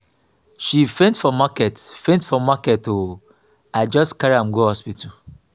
she faint for market faint for market o i just carry am go hospital.